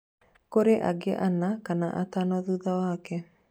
kũri angĩ ana kana atano thutha wake